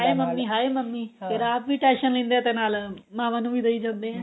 ਹਾਏ ਮੰਮੀ ਹਾਏ ਮੰਮੀ ਫ਼ਿਰ ਆਪ ਵੀ tension ਲੈਂਦੇ ਏ ਤੇ ਨਾਲ ਮਾਂਵਾਂ ਨੂੰ ਵੀ ਦਈ ਜਾਂਦੇ ਏ